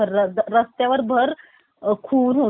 खून होतो गोळीबार होतो